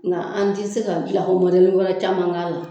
Nga an tɛ se ka gilanko wɛrɛ caman k'a la.